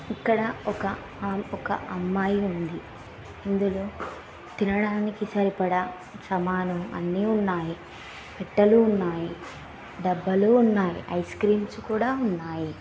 ఇక్కడ ఒక అమ్మాయి అమ్మాయి ఉంది. ఇందులో తినడానికి సరిపడా సామాను అన్ని ఉన్నాయి. పెట్టెలు ఉన్నాయి .డబ్బాలు ఉన్నాయి. ఐస్ క్రీమ్స్ కూడా ఉన్నాయి.